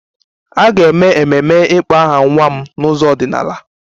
A ga-eme ememe ịkpọ aha nwa m n'ụzọ ọdịnala